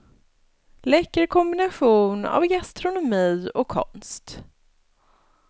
Läcker kombination av gastronomi och konst.